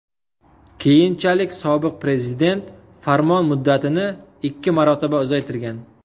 Keyinchalik sobiq prezident farmon muddatini ikki marotaba uzaytirgan.